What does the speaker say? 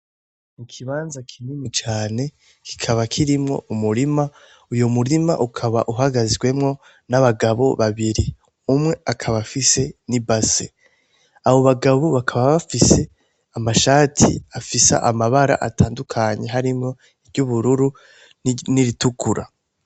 Ikibanza kinini cane kikaba kirimwo umurima ,uyo murima ukaba uhagazwemwo n'abagabo babiri. Umwe akaba afise n'ibase abo bagabo bakaba bafise amashati harimwo amabara atandukanye harimwo iry'ubururu n'iritukura.